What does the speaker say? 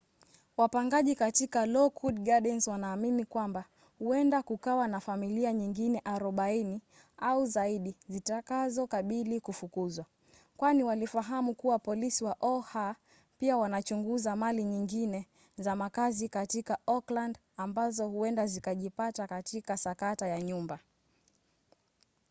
wapangaji katika lockwood gardens wanaamini kwamba huenda kukawa na familia nyingine 40 au zaidi zitakazokabili kufukuzwa kwani walifahamu kuwa polisi wa oha pia wanachunguza mali nyingine za makazi katika oakland ambazo huenda zikajipata katika sakata ya nyumba